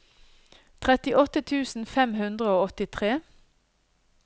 trettiåtte tusen fem hundre og åttitre